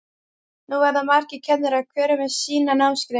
Nú verða margir kennarar, hver með sína námsgrein.